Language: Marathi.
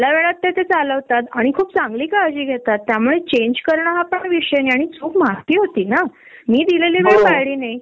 आर देवा, नाही याच्याशी त मी पण रिलेट करते हा आता आमचा ऑफिस कहा नाईन अ क्लोक ला लॉग इन असत five o'clock log out असत